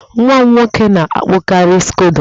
Nwa m nwoke na-akpụkari skodo.